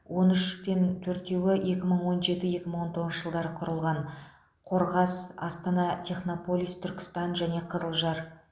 он үш пен төртеуі екі мың он жеті екі мың он тоғызыншы жылдары құрылған қорғас астана технополис түркістан және қызылжар